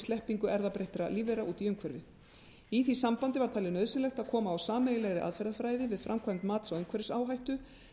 sleppingu erfðabreyttra lífvera út í umhverfið í því sambandi var talið nauðsynlegt að koma á sameiginlegri aðferðafræði við framkvæmd mats á umhverfisáhættu